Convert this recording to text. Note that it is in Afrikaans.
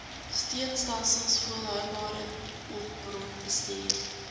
steunstelsels volhoubare hulpbronbestuur